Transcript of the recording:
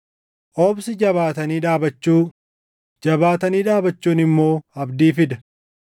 obsi jabaatanii dhaabachuu, jabaatanii dhaabachuun immoo abdii fida.